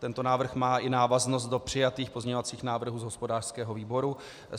Tento návrh má i návaznost do přijatých pozměňovacích návrhů z hospodářského výboru.